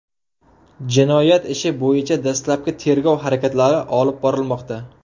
Jinoyat ishi bo‘yicha dastlabki tergov harakatlari olib borilmoqda.